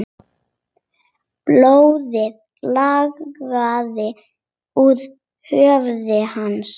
Blóðið lagaði úr höfði hans.